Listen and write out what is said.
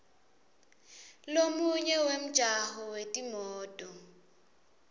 lomunye wemjaho wetimoto